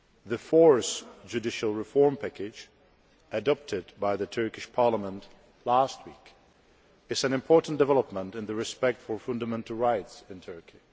The Fourth Judicial Reform Package adopted by the Turkish Parliament last week is an important development in respect for fundamental rights in Turkey.